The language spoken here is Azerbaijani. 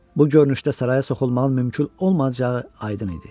Bu görünüşdə saraya soxulmağın mümkün olmayacağı aydın idi.